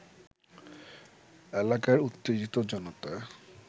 এলাকার উত্তেজিত জনতা